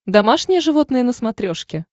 домашние животные на смотрешке